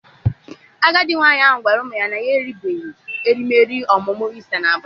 Agadi nwanyị ahụ gwara ụmụ ya na ya eri beghi erimeri emume Ista n'Abuja.